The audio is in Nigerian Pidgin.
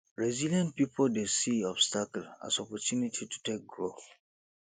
resilient pipo dey see obstacle as opportunity to take grow